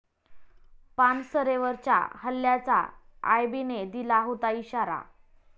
पानसरेंवरच्या हल्ल्याचा आयबीने दिला होता इशारा